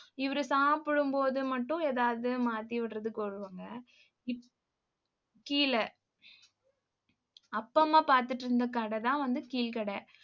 இவரு சாப்பிடும் போது மட்டும் ஏதாவது மாத்தி விடுறதுக்கு வருவாங்க. இப்~ கீழ. அப்பா, அம்மா பாத்துட்டு இருந்த கடைதான் வந்து கீழ்க்கடை